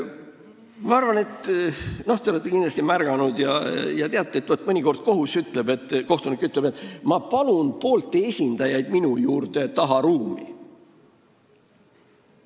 Ma arvan, et te olete märganud ja teate, et mõnikord kohtunik ütleb: "Ma palun poolte esindajad enda juurde tagaruumi.